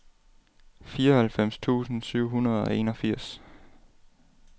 fireoghalvfems tusind syv hundrede og enogfirs